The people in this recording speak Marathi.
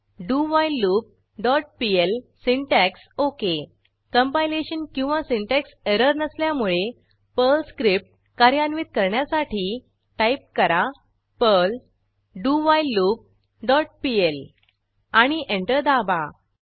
dowhileloopपीएल सिंटॅक्स ओक कंपायलेशन किंवा सिन्टॅक्स एरर नसल्यामुळे पर्ल स्क्रिप्ट कार्यान्वित करण्यासाठी टाईप करा पर्ल डोव्हिलेलूप डॉट पीएल आणि एंटर दाबा